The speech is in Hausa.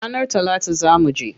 Ranar talata zaa muje.